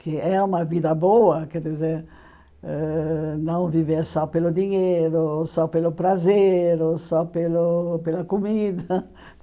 que é uma vida boa, quer dizer, ãh não viver só pelo dinheiro, só pelo prazer, ou só pelo pela comida.